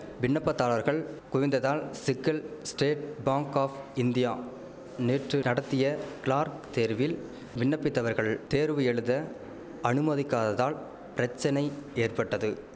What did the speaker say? விண்ணப்பதாரர்கள் குவிந்ததால் சிக்கல் ஸ்டேட் பாங்க் ஆப் இந்தியா நேற்று நடத்திய கிளார்க் தேர்வில் விண்ணப்பித்தவர்கள் தேர்வு எழுத அனுமதிக்காததால் பிரச்சனை ஏற்பட்டது